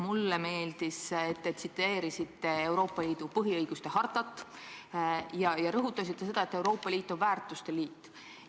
Mulle meeldis, et te tsiteerisite Euroopa Liidu põhiõiguste hartat ja rõhutasite, et Euroopa Liit on väärtuste liit.